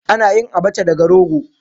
Ana yin Abacha daga rogo.